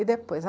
E depois?